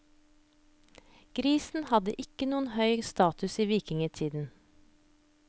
Grisen hadde ikke noen høy status i vikingtiden.